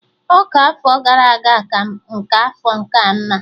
Ọka afọ gara aga ka nke afọ nkea mma